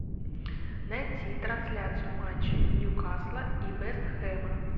найти трансляцию матча ньюкасла и вест хэма